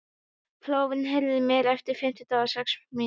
Flóvent, heyrðu í mér eftir fimmtíu og sex mínútur.